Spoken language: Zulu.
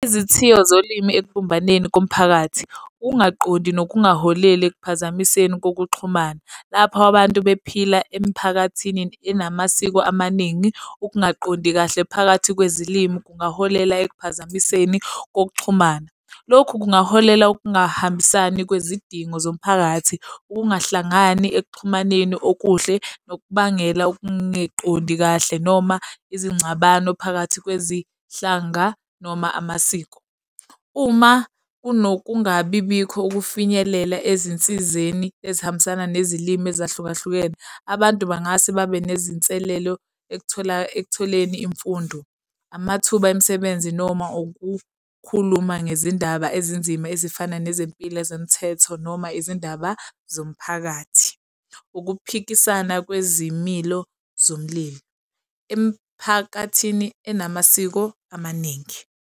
Izithiyo zolimi ekubumbeni komphakathi ungaqondi nokungaholela ekuphazamisekeni kokuxhumana lapho abantu bephila emiphakathini enamasiko amaningi. Ukungaqondi kahle phakathi kwezilimu kungaholela ekuphazamisekeni kokuxhumana. Lokhu kungaholela ukungahambisani kwezidingo zomphakathi, ukungahlangani ekuxhumaneni okuhle nokubangela ukungeqondi kahle noma izingxabano phakathi kwezinhlanga noma amasiko. Uma kunokungabibikho ukufinyelela ezinsizeni ezihambisana nezilimu ezahlukahlukene. Abantu bangase babe nezinselelo ekuthola ekutholeni imfundo, amathuba emisebenzi noma ukukhuluma ngezindaba ezinzima ezifana nezempilo zomthetho noma izindaba zomphakathi, ukuphikisana kwezimilo zomlilo emphakathini enamasiko amaningi.